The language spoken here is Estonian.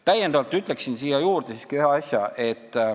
Täiendavalt ütlen siia juurde siiski ühe asja.